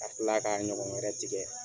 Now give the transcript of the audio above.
Ka tila ka ɲɔgɔn wɛrɛ tigɛ.